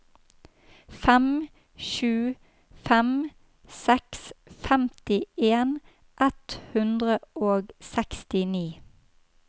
fem sju fem seks femtien ett hundre og sekstini